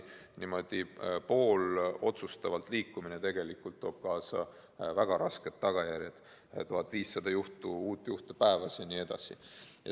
Niimoodi poolotsustavalt edasi liikumine toob tegelikult kaasa väga rasked tagajärjed, 1500 uut juhtu päevas jne.